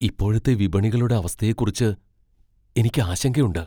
ഇപ്പോഴത്തെ വിപണികളുടെ അവസ്ഥയെക്കുറിച്ച് എനിക്ക് ആശങ്കയുണ്ട്.